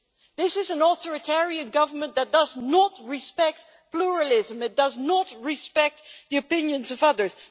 This is an authoritarian government that does not respect pluralism and does not respect the opinions of others.